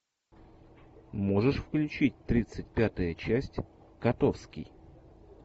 можешь включить тридцать пятая часть котовский